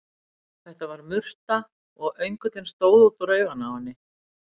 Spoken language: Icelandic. Þetta var murta, og öngullinn stóð út úr auganu á henni.